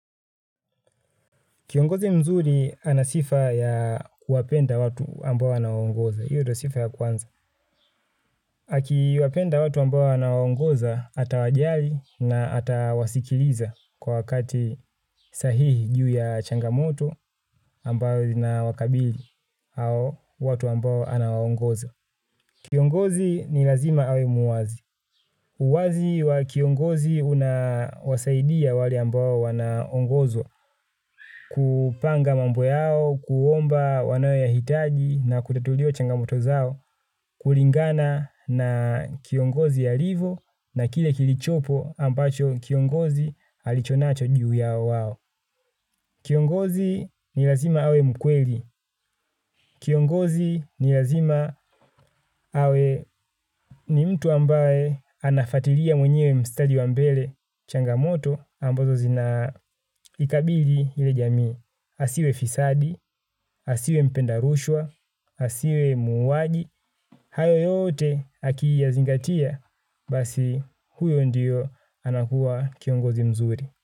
Kiongozi mzuli anasifa ya kuwapenda watu ambao anawaongoza. Hiyo ndio sifa ya kwanza. Akiwapenda watu ambao anawaongoza atawajali na atawasikiliza kwa wakati sahihi juu ya changamoto ambao ina wakabili au watu ambao anawaongoza. Kiongozi ni lazima awe muwazi. Uwazi wa kiongozi unasaidia wale ambao wanaongozwa, kupanga mambo yao, kuomba wanayo yahitaji na kutatuliwa changamoto zao, kulingana na kiongozi alivyo na kile kilichopo ambacho kiongozi alichonacho juu yao wao. Kiongozi ni lazima awe mkweli. Kiongozi ni lazima awe ni mtu ambaye anafuatilia mwenyewe mstari wa mbele changamoto ambazo zinaikabili ile jamii. Asiwe fisadi, asiwe mpenda rushwa, asiwe muuaji. Hayo yote akiiyazingatia basi huyo ndiyo anakuwa kiongozi mzuri.